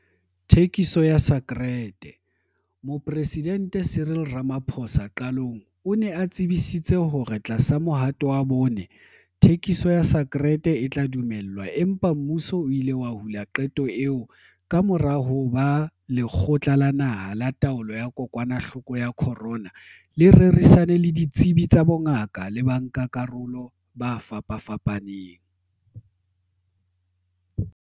Thekiso ya sakereteMoporesidente Cyril Ramaphosa qalong o ne a tsebisitse hore tlasa Mohato wa Bone, thekiso ya sakerete e tla dumellwa empa mmuso o ile wa hula qeto eo kamora hoba Lekgotla la Naha la Taolo ya Kokwanahloko ya Corona le rerisane le ditsebi tsa bongaka le bankakarolo ba fapafapaneng.